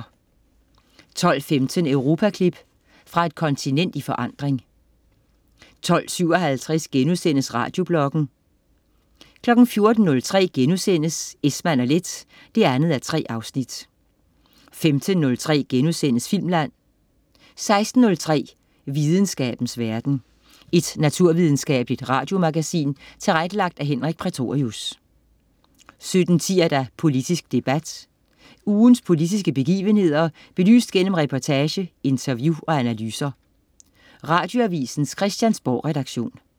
12.15 Europaklip. Fra et kontinent i forandring 12.57 Radiobloggen* 14.03 Esmann & Leth 2:3* 15.03 Filmland* 16.03 Videnskabens verden. Et naturvidenskabeligt radiomagasin tilrettelagt af Henrik Prætorius 17.10 Politisk debat. Ugens politiske begivenheder belyst gennem reportage, interview og analyser. Radioavisens Christiansborgredaktion